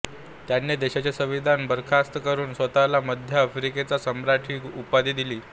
त्याने देशाचे संविधान बरखास्त करून स्वतःला मध्य आफ्रिकेचा सम्राट ही उपाधी दिली